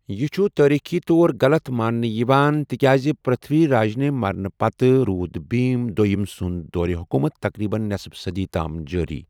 یہِ چھُ تٲریخٖی طورغلط ماننہٕ یِوان تِکیٛازِ پرتھوی راجنہِ مرنہٕ پتہٕ روٗد بھیم دویم سندُ دورِ حکوٗمت تقریباً نصف صٔدی تام جٲری۔